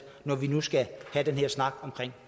når vi nu skal have den her snak om